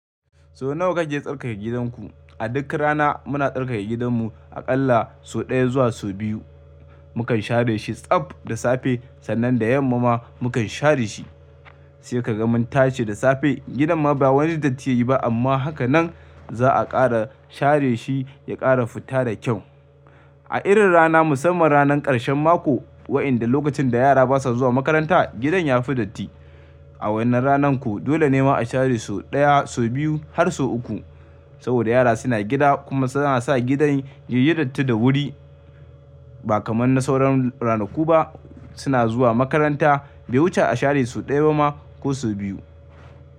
Sau nawa kake tsarkake gidanku? A duk rana muna tsarkake gidanmu aƙalla sau ɗaya zuwa sau biyu. Mukan share shi tsab da safe, sannan da yamma ma mukan share shi. Sai ka ga mun tace da safe gidan ma ba wani datti yayi ba amma haka nan za'a ƙara share shi ya ƙara fita da kyau. A irin rana musamman ranar ƙarshen mako wayanda lokacin da yara basa zuwa makaranta, gidan ya fi datti. A wannan rananku dole ne ma a share sau ɗaya, sau biyu har sau uku. Saboda yara suna gida kuma suna sa gidan yin datti da wuri ba kamar na sauran ranaku ba suna zuwa makaranta bai wuce a share sau ɗaya ba ma ko sau biyu.